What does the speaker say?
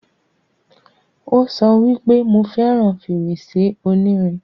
Ó sọ wípé, 'Mo fẹràn fèrèsé onírin'